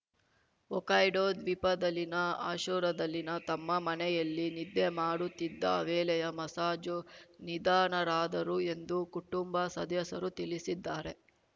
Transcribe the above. Hokkaido ದ್ವೀಪದಲ್ಲಿನ ಆಶೋರಾದಲ್ಲಿನ ತಮ್ಮ ಮನೆಯಲ್ಲಿ ನಿದ್ದೆ ಮಾಡುತ್ತಿದ್ದ ವೇಳೆಯೇ ಮಸಾಝೋ ನಿಧನರಾದರು ಎಂದು ಕುಟುಂಬ ಸದಸ್ಯರು ತಿಳಿಸಿದ್ದಾರೆ